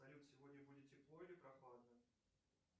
салют сегодня будет тепло или прохладно